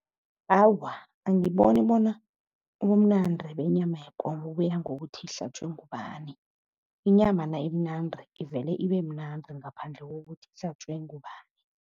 Awa, angiboni bona ubumnandi benyama yekomo buya ngokuthi ihlatjwe ngubani. Inyama nayimnandi ivele ibe mnandi ngaphandle kokuthi ihlatjwe ngubani.